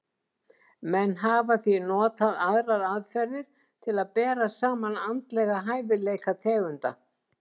Menn hafa því notað aðrar aðferðir til að bera saman andlega hæfileika tegunda.